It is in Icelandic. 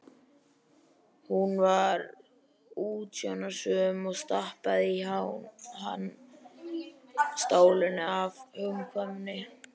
Hún var útsjónarsöm og stappaði í hann stálinu af hugkvæmni.